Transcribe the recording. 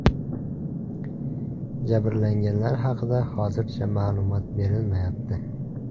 Jabrlanganlar haqida hozircha ma’lumot berilmayapti.